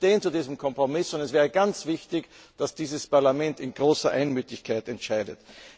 Wir stehen zu diesem Kompromiss, und es wäre ganz wichtig, dass dieses Parlament in großer Einmütigkeit entscheidet.